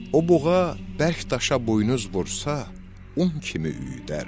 O buğa bərk daşa buynuz vursa, un kimi üyüdərdi.